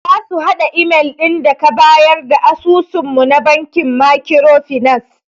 Zasu hada imel din daka bayar da asusun mu na bankin makiro finas.